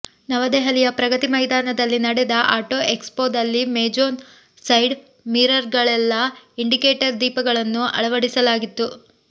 ನವದೆಹಲಿಯ ಪ್ರಗತಿ ಮೈದಾನದಲ್ಲಿ ನಡೆದ ಆಟೊ ಎಕ್ಸ್ಪೋದಲ್ಲಿ ಮೋಜೊನ ಸೈಡ್ ಮಿರರ್ಗಳಲ್ಲೇ ಇಂಡಿಕೇಟರ್ ದೀಪಗಳನ್ನು ಅಳವಡಿಸಲಾಗಿತ್ತು